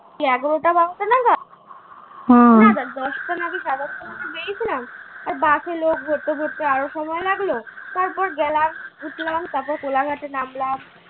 কি এগারোটা বাজতে নাগাদ না না দশটা না সাড়ে দশটা বেরিয়েছিলাম আর bus লোক ভরতে ভরতে আরো সময় লাগলো তারপর গেলাম ঢুকলাম তারপর কোলাঘাটে নামলাম